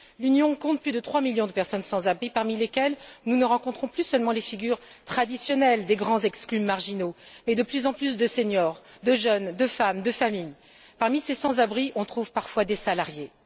L'Union compte plus de trois millions de personnes sans abri, parmi lesquelles nous ne rencontrons plus seulement les figures traditionnelles des grands exclus marginaux, mais de plus en plus de seniors, de jeunes, de femmes, de familles. Parmi ces sans abris, on trouve parfois des salariés.